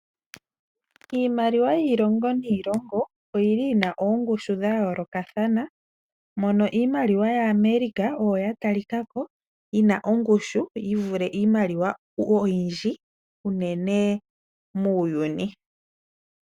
Iimaliwa yiilongo niilongo oyili yina oongushu dha yoolokathana, mono iimaliwa ya America oyo ya talikako yina ongushu yivule iimaliwa oyindji unene muuyuni.